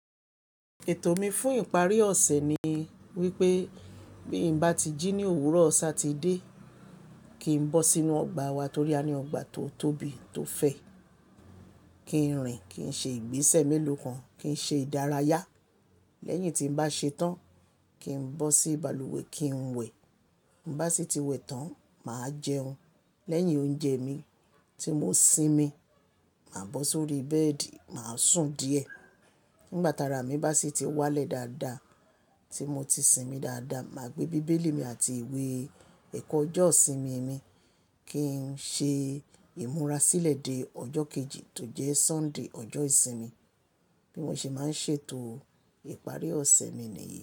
Ètò mi fún ìparí ọ̀sẹ̀ ni wípé bí n bá ti jí ní òwúrọ̀ Saturday, kín bọ́ sínú ọgbà wa torí a ní ọgbà tó tóbi tó fẹ̀. Kín rìn, kín ṣe ìgbésẹ̀ mélòó kan, kí n ṣe ìdárayá. Lẹ́yìn tí n bá ṣetán, kín bọ́ sí balùwẹ̀ kín wẹ̀. Bá sì tí wẹ̀ tán, màá jẹun. Lẹ́yìn oúnjẹ mi tí mo sinmi, màá bọ́ sórí bẹ́ẹ̀dì, màá sùn díẹ̀. Nígbà tara mi bá sì ti wálẹ̀ dáadáa tí mo ti sinmi dáadáa, màá gbé bíbélì mi àti ìwé ẹ̀kọ́ ọjọ́ ìsinmi mi kín ṣe ìmúra sílẹ̀ dé ọjọ́ kejì tó jẹ́ Sunday, ọjọ́ ìsinmi. Bí mo ṣe máa ń ṣètò ìparí ọ̀sẹ̀ mi nìyí.